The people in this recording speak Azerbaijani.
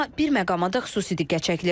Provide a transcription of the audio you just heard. Amma bir məqama da xüsusi diqqət çəkilir.